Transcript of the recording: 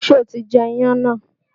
Ṣé o ti jẹ iyán náà?